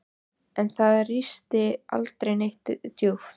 En það ristir aldrei neitt djúpt.